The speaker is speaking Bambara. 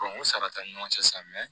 o sara t'an ni ɲɔgɔn cɛ sisan